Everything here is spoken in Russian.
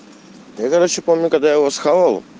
я короче помню когда его схавал